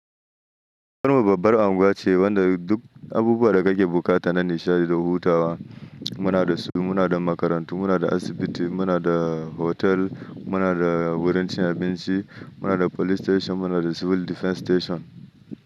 Kano babbar unguwa ce wanda duk abubuwan da kake bukata na nishaɗi da hutawa muna da su. Muna da makarantu, muna da asibiti, muna da hotel, muna da wurin cin abinci, muna da police station, muna da civil defence station.